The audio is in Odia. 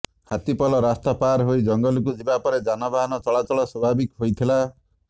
ହାତୀପଲ ରାସ୍ତା ପାର୍ ହୋଇ ଜଙ୍ଗଲକୁ ଯିବା ପରେ ଯାନବାହନ ଚଳାଚଳ ସ୍ୱାଭାବିକ ହୋଇଥିଲା